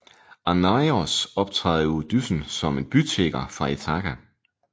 Arnaios optræder i Odysseen som en bytigger fra Ithaka